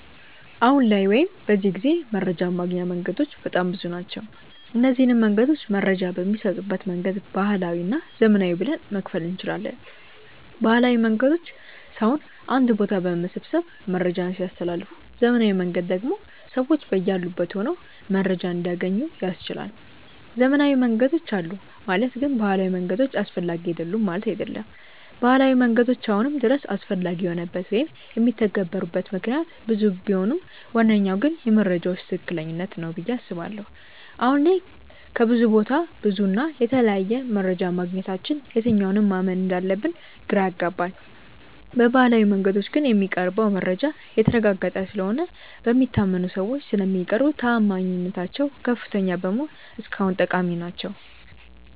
አሁን ላይ ወይም በዚህ ጊዜ መረጃን ማግኛ መንገዶች በጣም ብዙ ናቸው። እነዚንም መንገዶች መረጃ በሚሰጡበት መንገድ ባህላዊ እና ዘመናዊ ብለን መክፈል እንችላለን። ባህላዊ መንገዶች ሰውን አንድ ቦታ በመሰብሰብ መረጃን ሲያስተላልፉ ዘመናዊው መንገድ ደግሞ ሰዎች በያሉበት ሆነው መረጃን እንዲያገኙ ያስችላል። ዘመናዊ መንገዶች አሉ ማለት ግን ባህላዊ መንገዶች አስፈላጊ አይደሉም ማለት አይደለም። ባህላዊ መንገዶች አሁንም ድረስ አስፈላጊ የሆኑበት ወይም የሚተገበሩበት ምክንያት ብዙ ቢሆንም ዋነኛው ግን የመረጃዎች ትክክለኛነት ነው ብዬ አስባለሁ። አሁን ላይ ከብዙ ቦታ ብዙ እና የተለያየ መረጃ ማግኘታችን የትኛውን ማመን እንዳለብን ግራ ያጋባል። በባህላዊው መንገዶች ግን የሚቀርበው መረጃ የተረጋገጠ ስለሆነ እና በሚታመኑ ሰዎች ስለሚቀርቡ ተአማኒነታቸው ከፍተኛ በመሆኑ እስካሁን ጠቃሚ ናቸው።